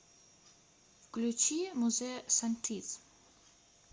включи музе сантиз